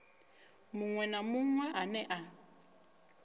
muṅwe na muṅwe ane a